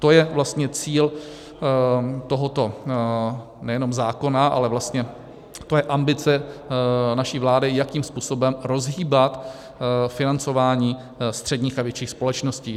To je vlastně cíl tohoto nejenom zákona, ale vlastně to je ambice naší vlády, jakým způsobem rozhýbat financování středních a větších společností.